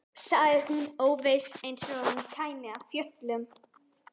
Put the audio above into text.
sagði hún óviss, eins og hún kæmi af fjöllum.